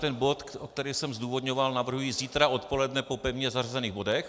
Ten bod, který jsem zdůvodňoval, navrhuji zítra odpoledne po pevně zařazených bodech.